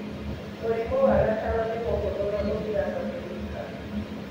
Mũrimũ wa gatano nĩ mũhũthũ na ũthiraga wĩ wika.